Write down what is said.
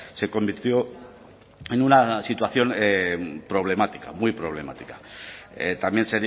se convirtió en una situación problemática muy problemática también